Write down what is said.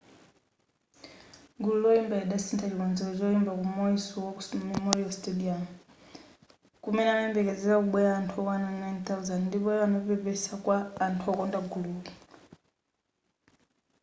gulu loyimbali lidasintha chikonzero choimba ku maui's war memorial stadium kumene kumayembekezeleka kubwela anthu okwana 9,000 ndipo iwo anapepesa kwa anthu okonda gululi